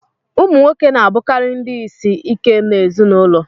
Ụmụ nwoke na-abụkarị ndị isi ike n'ezinụlọ